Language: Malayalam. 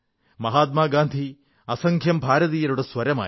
മഹാത്മാഗാന്ധി അസംഖ്യം ഭാരതീയരുടെ സ്വരമായി